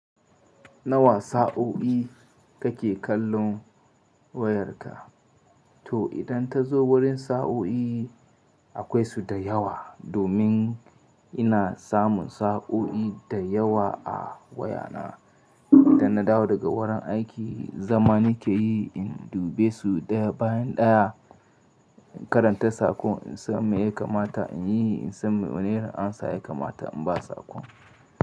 Nawa sa'o'i kake kallon wayarka? To idan ta zo wurin sa'o'i akwai su da yawa. Domin ina samun sa'o'i da yawa a wayana. Idan na dawo daga wurin aiki, zama nike yi in dube su ɗaya bayan ɗaya, in karanta saƙon in san me ya kamata in yi, in san me wane irin amsa ya kamata in ba saƙon.